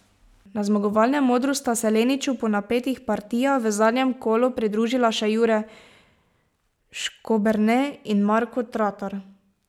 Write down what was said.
Na zmagovalnem odru sta se Leniču po napetih partijah v zadnjem kolu pridružila še Jure Škoberne in Marko Tratar.